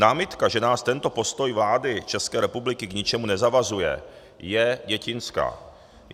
Námitka, že nás tento postoj vlády České republiky k ničemu nezavazuje, je dětinská.